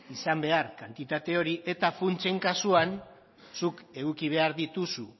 izan behar kantitate hori eta funtsen kasuan zuk eduki behar dituzu